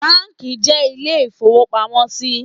Báànkì jẹ́ ilé ìfowópamọ́sí